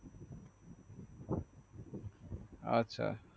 আচ্ছা